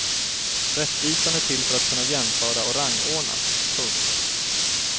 Rättvisan är till för att kunna jämföra och rangordna. punkt